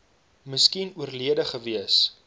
miskien oorlede gewees